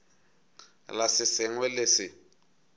la se sengwe le se